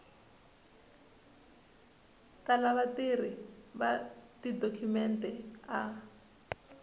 tala vatirhi va tidokhumente a